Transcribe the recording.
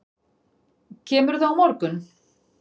Kemurðu á morgun?